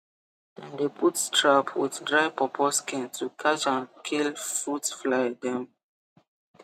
dem dey put trap with dry pawpaw skin to catch and kill fruit fly dem